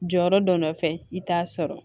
Jɔyɔrɔ dɔ nɔfɛ i t'a sɔrɔ